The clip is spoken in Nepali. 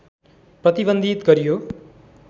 प्रतिबन्धित गरियो